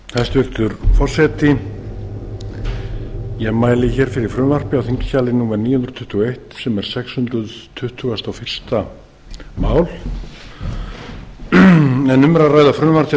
hæstvirtur forseti ég mæli hér fyrir frumvarpi á þingskjali númer níu hundruð tuttugu og eitt sem er sex hundruð tuttugustu og fyrsta mál en um er að ræða frumvarp til